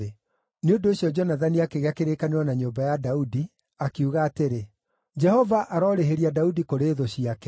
Nĩ ũndũ ũcio Jonathani akĩgĩa kĩrĩkanĩro na nyũmba ya Daudi, akiuga atĩrĩ, “Jehova arorĩhĩria Daudi kũrĩ thũ ciake.”